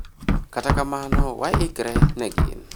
kata kamano wa ikre ne gin